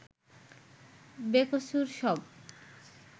বেকসুর শব